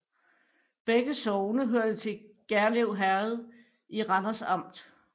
Begge sogne hørte til Gjerlev Herred i Randers Amt